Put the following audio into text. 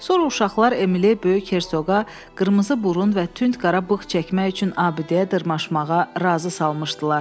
Sonra uşaqlar Emili böyük hersoqa qırmızı burun və tünd qara bığ çəkmək üçün abidəyə dırmaşmağa razı salmışdılar.